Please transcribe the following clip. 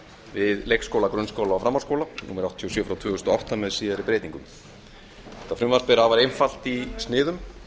við leikskóla grunnskóla og framhaldsskóla númer áttatíu og sjö tvö þúsund og átta með síðari breytingum þetta frumvarp er afar einfalt í sniðum